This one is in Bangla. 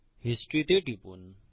হিস্টরি তে টিপুন